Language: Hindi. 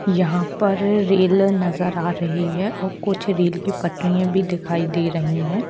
यहाँ पर रेल नज़र आ रही है और कुछ रेल की पटरिया दिखाई दे रही है।